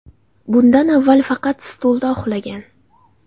Bundan avval faqat stulda uxlagan.